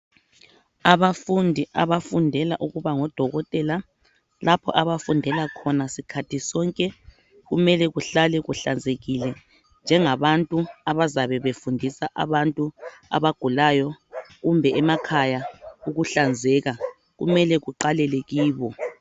Abafundi abafundela ukuba ngodokotela lapho abafundela khona sikhathi sonke kumele kuhlale kuhlanzekile njengabantu abazabe befundisa abantu abagulayo kumbe emakhaya ukuhlanzeka kumele kuqalele kibo